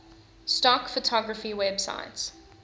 stock photography websites